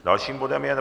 Dalším bodem je